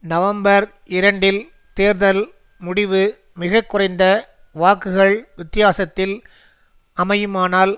November இரண்டில் தேர்தல் முடிவு மிக குறைந்த வாக்குகள் வித்தியாசத்தில் அமையுமானால்